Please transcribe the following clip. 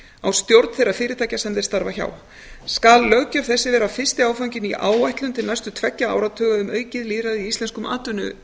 á stjórn þeirra fyrirtækja sem þeir starfa hjá skal löggjöf þessi vera fyrsti áfanginn í áætlun til næstu tveggja áratuga um aukið lýðræði í íslenzkum atvinnuvegum